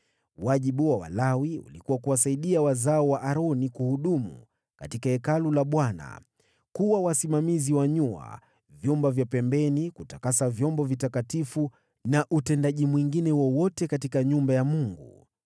Wajibu wa Walawi ulikuwa kuwasaidia wazao wa Aroni kuhudumu katika Hekalu la Bwana : Kuwa wasimamizi wa nyua, vyumba vya pembeni, kutakasa vyombo vitakatifu na utendaji mwingine wowote katika nyumba ya Mungu.